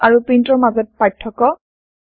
পুৎছ আৰু প্ৰীন্টৰ মাজত পাৰ্থক্য